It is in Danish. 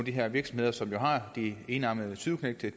her virksomheder som har de enarmede tyveknægte